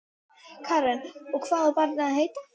Karen: Og hvað á barnið að heita?